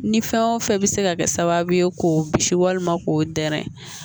Ni fɛn o fɛn bɛ se ka kɛ sababu ye k'o bisi walima k'o dɛrɛ